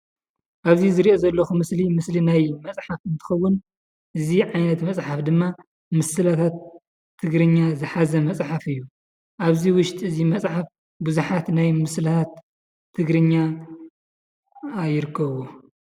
ኣብዚ ዝሪኦ ዘለኩ ምስሊ ምስሊ ናይ መፅሓፍ እንትከዉን እዚ ዓይነት መፅሓፍ ድማ ምስላታት ትግርኛ ዝሓዘ መፅሓፍ እዩ። ኣብዚ ውሽጢ እዚ መፅሓፍ ብዙሓት ናይ ምስላታት ትግርኛ ይርከብዎ ።